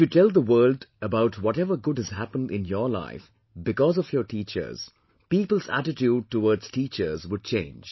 If you tell the world about whatever good has happened in your life because of your teachers, people's attitude towards teachers would change